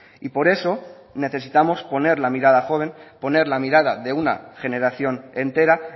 y por eso necesitamos poner la mirada joven poner la mirada de una generación entera